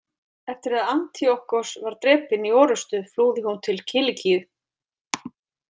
Eftir að Antíokkos var drepinn í orrustu flúði hún til Kilikíu.